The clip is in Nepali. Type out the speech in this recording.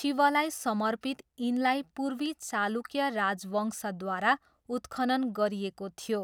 शिवलाई समर्पित यिनलाई पूर्वी चालुक्य राजवंशद्वारा उत्खनन गरिएको थियो।